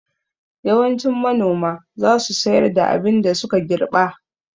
Yawancin manoma za su sayar da abin da suka girɓa